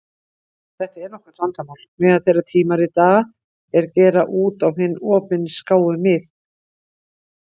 Þetta er nokkurt vandamál meðal þeirra tímarita er gera út á hin opinskáu mið.